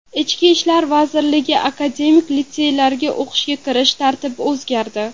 Ichki ishlar vazirligi akademik litseylariga o‘qishga kirish tartibi o‘zgardi .